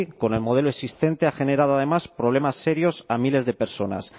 con el modelo existente ha generado además problemas serios a miles de personas